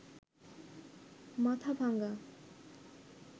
Mathabhanga